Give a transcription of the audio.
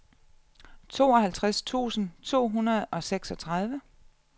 tooghalvtreds tusind to hundrede og seksogtredive